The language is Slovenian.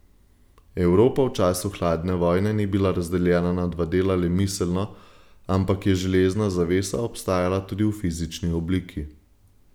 Evropa v času hladne vojne ni bila razdeljena na dva dela le miselno, ampak je železna zavesa obstajala tudi v fizični obliki.